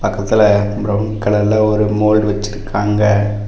பக்கத்துல பிரவுன் கலர்ல ஒரு மோல்டு வெச்சுருக்காங்க.